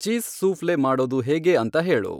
cheese souffle ಮಾಡೋದು ಹೇಗೆ ಅಂತ ಹೇಳು